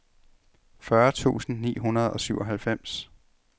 fyrre tusind ni hundrede og syvoghalvfems